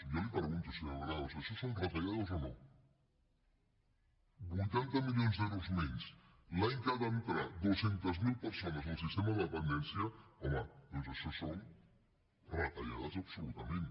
i jo li pregunto senyora granados això són retallades o no vuitanta milions d’euros menys l’any que han d’entrar dos cents miler persones al sistema de dependència home doncs això són retallades absolutament